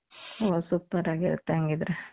ಓ super ಆಗಿರುತ್ತೆ ಹಂಗಿದ್ದರೆ